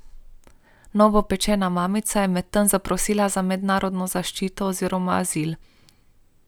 Novopečena mamica je medtem zaprosila za mednarodno zaščito oziroma azil.